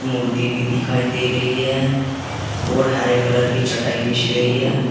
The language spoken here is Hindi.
मूर्ति भी दिखाई दे रही है और हरे कलर की चटाई बिछ रही है।